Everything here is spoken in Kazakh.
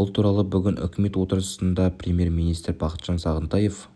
бұл туралы бүгін үкімет отырысындапремьер-министр бақытжан сағынтаев